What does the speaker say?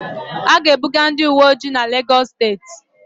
A ga-ebuga ndị uweojii n'Legọs steeti